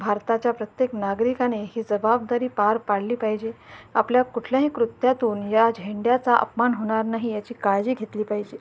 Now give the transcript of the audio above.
भारताच्या प्रत्येक नागरिकाने ही जबाबदारी पार पाडली पाहिजे आपल्या कुठल्याही कृत्यातून ह्या झेंड्याचा अपमान होणार नाही याची काळजी घेतली पाहिजे.